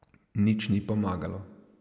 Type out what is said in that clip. Nič ni pomagalo.